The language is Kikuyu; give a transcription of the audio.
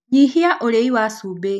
Nyĩhĩa ũrĩĩ wa cũbĩ